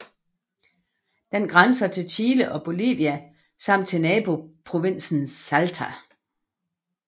Den grænser til Chile og Bolivia samt til naboprovinsen Salta